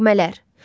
Nəğmələr.